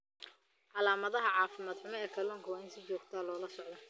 Calaamadaha caafimaad xumo ee kalluunka waa in si joogto ah loola socdo.